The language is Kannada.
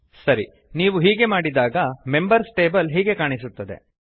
ಸರಿ ನೀವು ಹೀಗೆ ಮಾಡಿದಾಗ ಮೆಂಬರ್ಸ್ ಟೇಬಲ್ ಹೀಗೆ ಕಾಣಿಸುತ್ತದೆ